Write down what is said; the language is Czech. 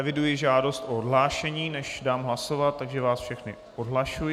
Eviduji žádost o odhlášení, než dám hlasovat, takže vás všechny odhlašuji.